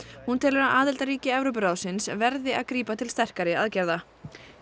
hún telur að aðildarríki Evrópuráðsins verði að grípa til sterkari aðgerða